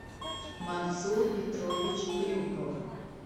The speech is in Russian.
мансур петрович крюков